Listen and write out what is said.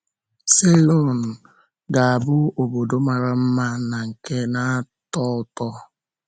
Ceylon ga-abụ obodo mara mma na nke na-atọ ụtọ!